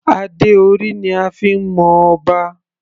Adé orí ni a fi ń mọ Ọba.